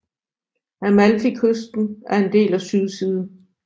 Amalfikysten er en del af sydsiden